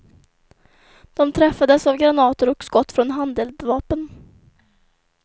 De träffades av granater och skott från handeldvapen.